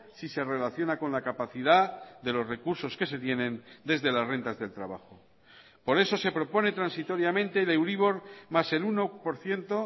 si se relaciona con la capacidad de los recursos que se tienen desde las rentas del trabajo por eso se propone transitoriamente de euribor más el uno por ciento